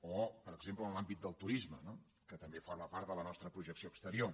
o per exemple en l’àmbit del turisme que també forma part de la nostra projecció exte rior